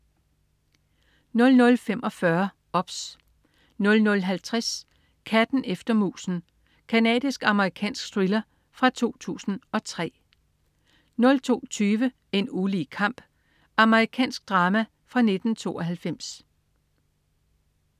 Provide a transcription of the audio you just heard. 00.45 OBS 00.50 Katten efter musen. Canadisk-amerikansk thriller fra 2003 02.20 En ulige kamp. Amerikansk drama fra 1992